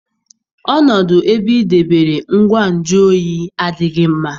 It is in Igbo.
Ọnọdụ ebe ị debere ngwa nju oyi adịghị mma.